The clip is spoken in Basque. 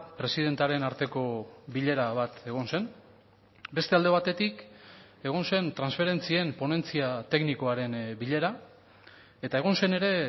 presidentearen arteko bilera bat egon zen beste alde batetik egon zen transferentzien ponentzia teknikoaren bilera eta egon zen ere